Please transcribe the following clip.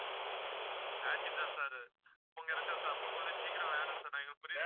thirteen sir உங்களுக்கு கிடைச்சிரும் sir அப்ப உங்களுக்கு சீக்கிரம் வேணும் sir எங்களுக்கு புரியுது